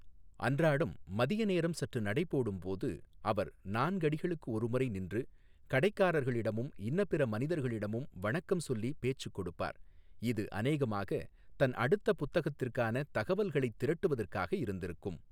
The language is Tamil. அன்றாடம் மதிய நேரம் சற்று நடைபோடும் போது அவர் நான்கடிகளுக்கு ஒருமுறை நின்று கடைக்காரர்களிடமும் இன்னபிற மனிதர்களிடமும் வணக்கம் சொல்லி பேச்சுக் கொடுப்பார், இது அநேகமாக தன் அடுத்த புத்தகத்திற்கான தகவல்களைத் திரட்டுவதற்காக இருந்திருக்கும்.